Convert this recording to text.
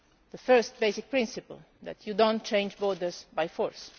the first basic principle being that you do not change borders by force.